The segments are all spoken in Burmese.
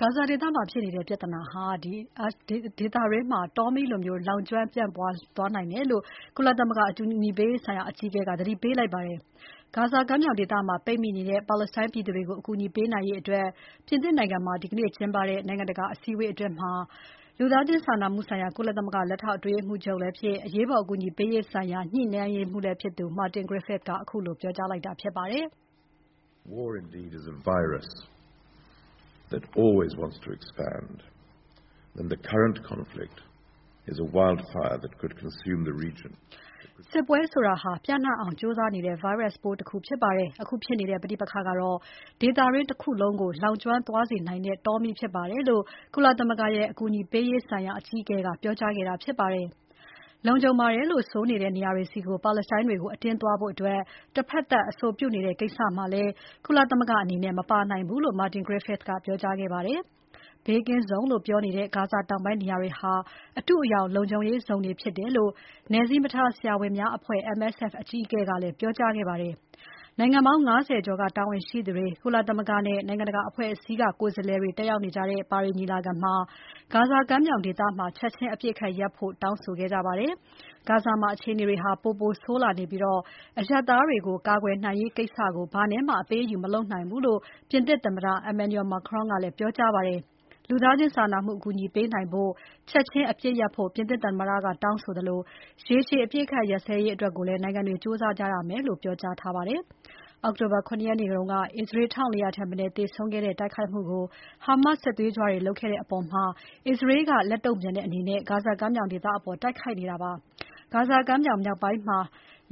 ဂါဇာဒေသမှာဖြစ်နေတဲ့ ပြဿနာဟာ ဒေသတွင်းကို တောမီးလို့ ပြန့်သွားနိုင်တယ်လို့ ကုလသမဂ္ဂ အကူအညီပေးရေးဆိုင်ရာအကြီးအကဲက သတိပေးလိုက်ပါတယ်။ ဂါဇာကမ်းမြောင်ဒေသမှာ ပိတ်မိနေတဲ့ ပါလက်စတိုင်းပြည်သူတွေကို အကူအညီပေးနိုင်ရေး ပြင်သစ်နိုင်ငံမှာ ဒီနေ့ကျင်းပတဲ့ နိုင်ငံတကာ အစည်းအဝေးမှာ လူသားချင်းစာနာမှုဆိုင်ရာ ကုလသမဂ္ဂ လက်ထောက်အတွင်းရေးမှူးချုပ်လည်းဖြစ် အရေးပေါ်အကူအညီပေးရေးဆိုင်ရာ ညှိနှိုင်းရေးမှူးလည်းဖြစ်သူ Martin Griffiths ကပြောကြားခဲ့တာဖြစ်ပါတယ်။ "စစ်ပွဲဆိုတာ ပျံ့နှံ့အောင်ကြိုးစားနေတဲ့ ဗိုင်းရပ်စ်ပိုးတခုဖြစ်ပြီး အခုဖြစ်နေတဲ့ ပဋိပက္ခကတော့ ဒေသတခုလုံးကို လောင်ကျွမ်းသွားစေနိုင်တဲ့ တောမီးဖြစ်ပါတယ်"လို့ ကုလသမဂ္ဂရဲ့ အကူအညီအပေးရေးဆိုင်ရာအကြီးအကဲကပြောကြားခဲ့တာဖြစ်ပါတယ်။ လုံခြုံပါတယ်လို့ဆိုနေတဲ့ နေရာတွေဆီ ပါလက်စတိုင်းတွေကို အတင်းသွားဖို့ တဖက်သတ်အဆိုပြုနေတဲ့ကိစ္စမှာလည်း ကုလသမဂ္ဂအနေနဲ့ မပါနိုင်ဘူးလို့ Martin Griffiths ကပြောခဲ့ပါတယ်။ ဘေးကင်းဇုံတွေလို့ပြောနေတဲ့ ဂါဇာတောင်ပိုင်းနေရာတွေဟာ အတုအယောင်လုံခြုံရေးဇုံတွေဖြစ်တယ်လို့ နယ်စည်းမထားဆရာဝန်များအဖွဲ့ MSF အကြီးအကဲကလည်း ပြောကြားခဲ့ပါတယ်။ နိုင်ငံပေါင်း ၅၀ ကျော်က တာဝန်ရှိသူတွေ၊ ကုလသမဂ္ဂနဲ့ နိုင်ငံတကာအဖွဲ့အစည်းက ကိုယ်စားလှယ်တွေတက်ရောက်ကြတဲ့ ပါရီညီလာခံမှာ ဂါဇာကမ်းမြောင်ဒေသမှာ ချက်ချင်းအပစ်အခတ်ရပ်ဖို့ တောင်းဆိုခဲ့ကြပါတယ်။ ဂါဇာမှာ အခြေအနေတွေဟာ ပိုပိုဆိုးလာနေပြီး အရပ်သားတွေကို ကာကွယ်နိုင်ရေးကိစ္စကို ဘာနဲ့မှ အပေးအယူမလုပ်နိုင်ဘူးလို့ ပြင်သစ်သမ္မတ Emmanuel Macron က ပြောကြားခဲ့ပါတယ်။ လူသားချင်းစာနာမှုအကူအညီပေးနိုင်ဖို့ ချက်ချင်း အပစ်ရပ်ဖို့ ပြင်သစ်သမ္မတက တောင်းဆိုသလို ရေရှည်အပစ်အခတ်ရပ်ဖို့ နိုင်ငံတွေကြိုးစားရမယ်လို့ ပြောကြားထားပါတယ်။ အောက်တိုဘာ ၇ ရက်က အစ္စရေး ၁၄၀၀ ထက်မနည်းသေဆုံးခဲ့တဲ့ တိုက်ခိုက်မှု ဟာမတ်စ်စစ်သွေးကြွတွေလုပ်ခဲ့တဲ့အပေါ် အစ္စရေးက လက်တုံ့ပြန်တဲ့အနေနဲ့ ဂါဇာကမ်းမြောင်ဒေသအပေါ် တိုက်ခိုက်နေပါတယ်။ ဂါဇာကမ်းမြောင်ဒေသ မြောက်ပိုင်းမှာ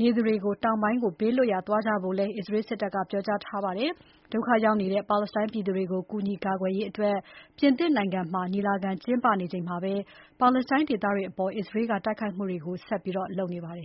နေသူတွေ တောင်ပိုင်းကို ဘေးလွတ်ရာသွားကြဖို့လည်း အစ္စရေးစစ်တပ်က ပြောထားပါတယ်။ ဒုက္ခရောက်နေတဲ့ ပါလက်စတိုင်းပြည်သူတွေကို ကူညီကာကွယ်ရေး ပြင်သစ်နိုင်ငံမှာ ညီလာခံကျင်းပနေချိန်မှာပဲ ပါလက်စတိုင်းဒေသတွေအပေါ် အစ္စရေးက တိုက်ခိုက်မှုတွေ ဆက်လုပ်နေပါတယ်